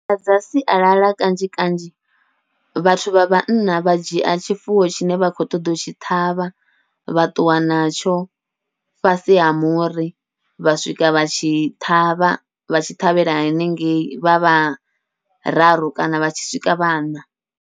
Nḓila dza sialala kanzhi kanzhi vhathu vha vhanna vha dzhia tshifuwo tshine vha khou ṱoḓa u tshi ṱhavha, vha ṱuwa natsho fhasi ha muri vha swika vha tshi ṱhavha vha tshi ṱhavhela hanengei vha vhararu kana vha tshi swika vhaṋa.